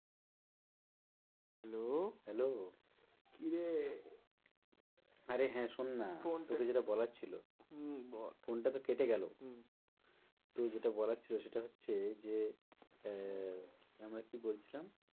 Hello, hello কি রে আরে হ্যাঁ শোন না তোকে যেটা বলার ছিল। হম বল phone টা তো কেটে গেলো। হম তো যেটা বলার ছিল সেটা হচ্ছে যে আহ আমরা কি বলছিলাম?